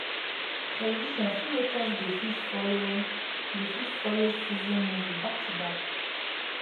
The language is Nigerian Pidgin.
television fit make us dey fit follow dey fit follow season movie back to back